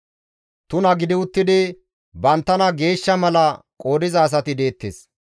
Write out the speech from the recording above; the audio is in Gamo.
Tuna gidi uttidi banttana geeshsha mala qoodiza asati deettes.